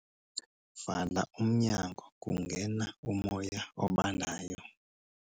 Vala umnyango kungena umoya obandayo.